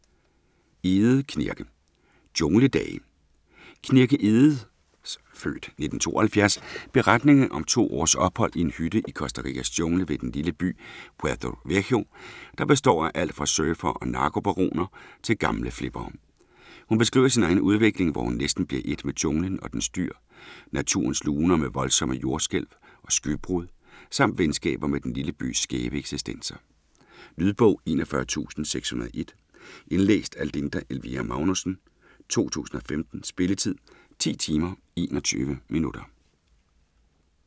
Egede, Knirke: Jungledage Knirke Egedes (f. 1972) beretning om to års ophold i en hytte i Costa Ricas jungle ved den lille by Puerto Viejo, der består af alt fra surfere og narkobaroner til gamle flippere. Hun beskriver sin egen udvikling, hvor hun næsten bliver et med junglen og dens dyr, naturens luner med voldsomme jordskælv og skybrud samt venskaber med den lille bys skæve eksistenser. Lydbog 41601 Indlæst af Linda Elvira Magnussen, 2015. Spilletid: 10 timer, 21 minutter.